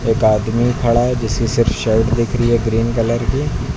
एक आदमी खड़ा है जिसकी सिर्फ शर्ट दिख रही है ग्रीन कलर की।